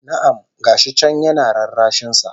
Na'am! Ga shi can yana rarrashin sa